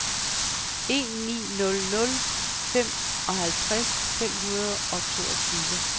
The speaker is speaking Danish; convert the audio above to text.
en ni nul nul femoghalvtreds fem hundrede og toogtyve